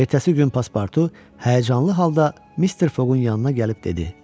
Ertəsi gün paspartu həyəcanlı halda Mister Foqqun yanına gəlib dedi: